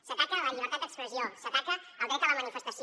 s’ataca la llibertat d’expressió s’ataca el dret a la manifestació